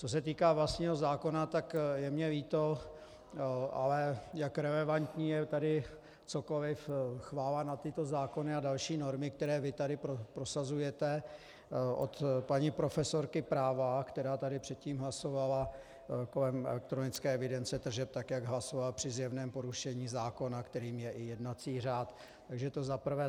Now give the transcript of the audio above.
Co se týká vlastního zákona, tak je mně líto, ale jak relevantní je tady cokoliv, chvála na tyto zákony a další normy, které vy tady prosazujete, od paní profesorky práva, která tady předtím hlasovala kolem elektronické evidence tržeb tak, jak hlasovala, při zjevném porušení zákona, kterým je i jednací řád, takže to za prvé.